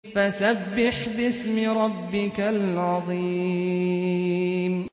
فَسَبِّحْ بِاسْمِ رَبِّكَ الْعَظِيمِ